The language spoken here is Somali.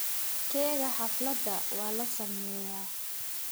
Keega xaflada waa la sameeyaa.